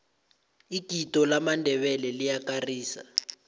igido lamandebele liyakarisa